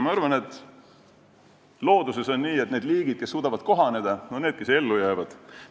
Ma arvan, et looduses on nii, et need liigid, kes suudavad kohaneda, on need, kes ellu jäävad.